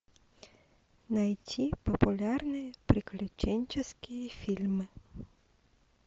найти популярные приключенческие фильмы